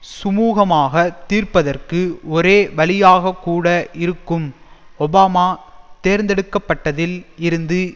சுமுகமாகத் தீர்ப்பதற்கு ஒரே வழியாகக்கூட இருக்கும் ஒபாமா தேர்ந்தெடுக்க பட்டதில் இருந்து